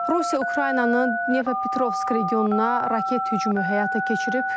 Rusiya Ukraynanın Dnepropetrovsk regionuna raket hücumu həyata keçirib.